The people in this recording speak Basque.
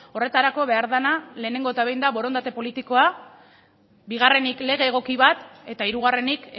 horretarako behar dena lehenengo eta behin da borondate politikoa bigarrenik lege egoki bat eta hirugarrenik